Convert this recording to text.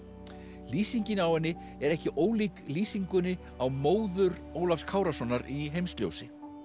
lýsingin á henni er ekki ólík lýsingunni á móður Ólafs Kárasonar í Heimsljósi